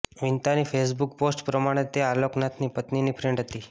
વિંતાની Facebook post પ્રમાણે તે આલોક નાથની પત્નીની ફ્રેન્ડ હતી